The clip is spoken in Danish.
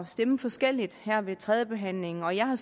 stemme forskelligt her ved tredjebehandlingen og jeg har